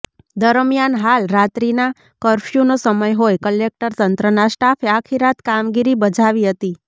દરમિયાન હાલ રાત્રીના કર્ફયુનો સમય હોય કલેકટર તંત્રના સ્ટાફે આખીરાત કામગીરી બજાવી હતી